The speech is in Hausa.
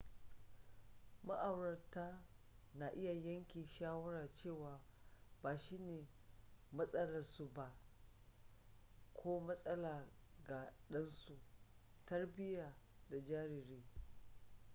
ma'aurata na iya yanke shawara cewa ba shine maslaharsu ba ko maslaha ga ɗansu tarbiyyar da jariri